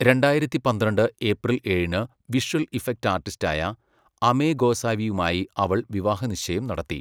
രണ്ടായിരത്തി പന്ത്രണ്ട് ഏപ്രിൽ ഏഴിന് വിഷ്വൽ ഇഫക്റ്റ് ആർട്ടിസ്റ്റായ അമേ ഗോസാവിയുമായി അവൾ വിവാഹനിശ്ചയം നടത്തി.